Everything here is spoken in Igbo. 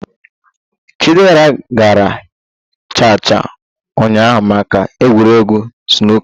Chidera gara cha cha ụnyaahụ maka egwuregwu snooker